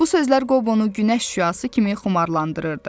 Bu sözlər Qobonu günəş şüası kimi xumarlandırırdı.